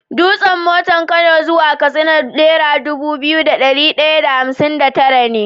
Dusan mota kano zuwa katsina naira Dubu biyu da dari daya da hamsin da tara ne